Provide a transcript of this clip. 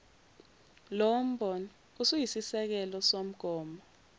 lowombono usuyisisekelo somgomo